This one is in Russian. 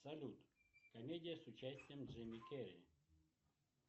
салют комедия с участием джима керри